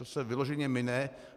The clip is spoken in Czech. To se vyloženě mine.